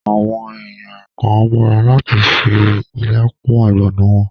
Àwọn èèyàn kàn n múra láti fi ilá kún ọ̀gbọ̀nà wọn